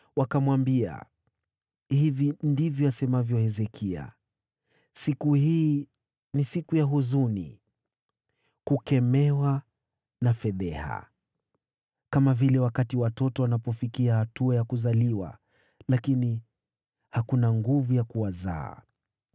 Wakamwambia, “Hili ndilo asemalo Hezekia: Siku hii ni siku ya dhiki, ya kukaripiwa na ya aibu, kama wakati watoto wanapofikia karibu kuzaliwa na kumbe hakuna nguvu ya kuwazaa.